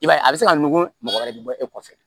I b'a ye a bɛ se ka nugu mɔgɔ wɛrɛ de bɔ e kɔfɛ